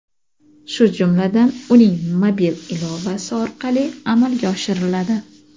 shu jumladan uning mobil ilovasi orqali amalga oshiriladi.